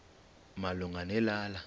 malunga ne lala